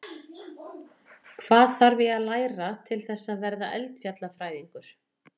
Hvað þarf ég að læra til þess að vera eldfjallafræðingur?